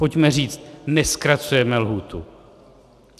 Pojďme říct: nezkracujeme lhůtu.